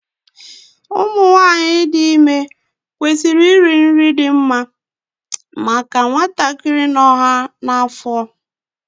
Ụmụ nwanyị dị ime kwesịrị iri nri dị mma maka nwatakịrị nọ ha n'afọ ya